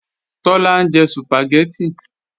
Tọ́lá ń jẹ Sùpàgẹ́tì